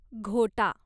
घोटा